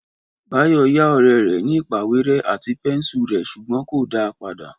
Báyò yá òré rè ní ìpàwéré àti pénsù rè sùgbón kò dá a padà